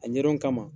A ɲɛdɔn kama